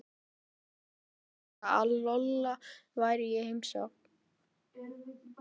Og ég fæ ekki að velja mér grafskriftina.